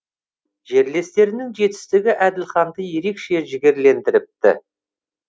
жерлестерінің жетістігі әділханды ерекше жігерлендіріпті